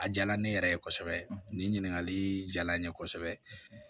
A diyara ne yɛrɛ ye kosɛbɛ nin ɲininkali diyara n ye kosɛbɛ